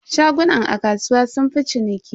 Shagunan a kasuwa sunfi ciniki.